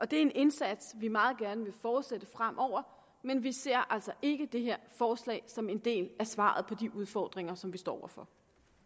det er en indsats vi meget gerne vil fortsætte fremover men vi ser altså ikke det her forslag som en del af svaret på de udfordringer som vi står over for